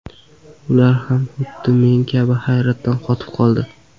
Ular ham xuddi men kabi hayratdan qotib qoldi.